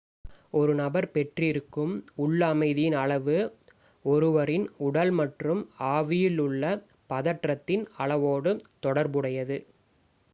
ஒரு நபர் பெற்றிருக்கும் உள் அமைதியின் அளவு ஒருவரின் உடல் மற்றும் ஆவியில் உள்ள பதற்றத்தின் அளவோடு தொடர்புடையது